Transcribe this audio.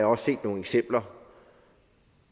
også set nogle eksempler